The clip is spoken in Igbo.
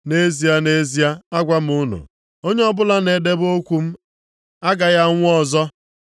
Nʼezie, nʼezie, agwa unu, onye ọbụla na-edebe okwu m agaghị anwụ ọzọ.”